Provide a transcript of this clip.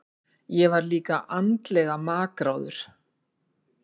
Ég var líka andlega makráður.